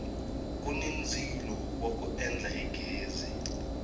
kuni ndzilo wa ku endla hi ghezi